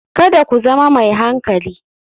Kada ku zama mai hankali.